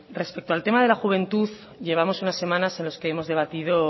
respecto al tema de la juventud llevamos unas semanas en las que hemos debatido